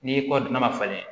N'i kɔ n'a ma falen